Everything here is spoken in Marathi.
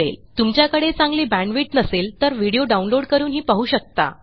तुमच्याकडे चांगली बॅण्डविड्थ नसेल तर व्हिडीओ download160 करूनही पाहू शकता